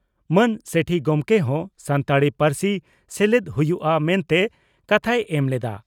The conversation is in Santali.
ᱢᱟᱹᱱ ᱥᱮᱴᱷᱤ ᱜᱚᱢᱠᱮ ᱦᱚᱸ ᱥᱟᱱᱛᱟᱲᱤ ᱯᱟᱹᱨᱥᱤ ᱥᱮᱞᱮᱫ ᱦᱩᱭᱩᱜᱼᱟ ᱢᱮᱱᱛᱮ ᱠᱟᱛᱷᱟᱭ ᱮᱢ ᱞᱮᱫᱼᱟ ᱾